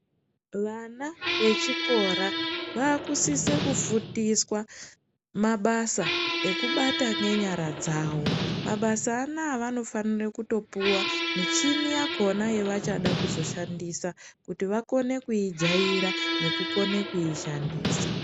Vana vechikora vakusise kufundiswa mabasa ekubata ngenyara dzawo mabasa anaya vanofanire kutopuwa michini yakona yavachada kuzoshandisa kuti vakone kuijaira nekukone kuzoishandisa.